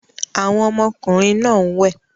Àwọn ọmọkùnrin náà ń wẹ̀